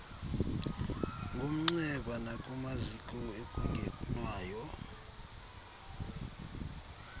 ngomnxeba nakumaziko ekungenwayo